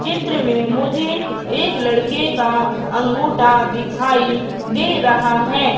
चित्र में मुझे एक लड़के का अंगूठा दिखाई दे रहा है।